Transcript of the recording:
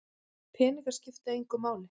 Peningar skipta engu máli